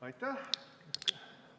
Aitäh!